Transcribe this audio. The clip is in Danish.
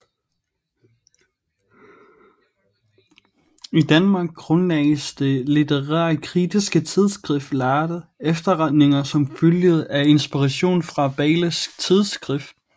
I Danmark grundlagdes det litterærkritiske tidsskrift Lærde efterretninger som følge af inspiration fra Bayles tidsskrift